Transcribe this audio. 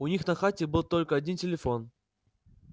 у них на хате был один только телефон